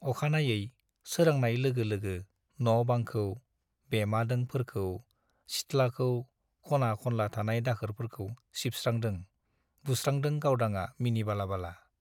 अखानायै सोरांनाय लोगो लोगो न' - बांखौ , बेमादों फोरखौ , सिथ्लाखौ , ख'ना - खनला थानाय दाखोरफोरखौ सिबस्रांदों , बुस्रांदों गावदांआ मिनि बाला बाला ।